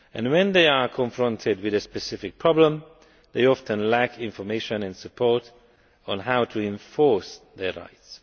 When they are confronted with a specific problem, they often lack information and support on how to enforce their rights.